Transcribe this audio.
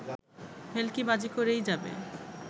ভেলকিবাজিকরেই যাবে